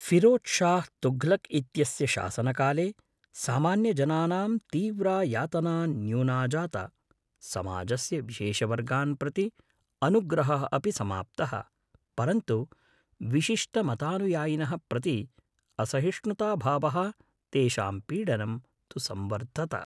फ़िरोज़शाह तुघलक् इत्यस्य शासनकाले सामान्यजनानां तीव्रा यातना न्यूना जाता, समाजस्य विशेषवर्गान् प्रति अनुग्रहः अपि समाप्तः, परन्तु विशिष्टमतानुयायिनः प्रति असहिष्णुताभावः, तेषां पीडनं तु संवर्धत।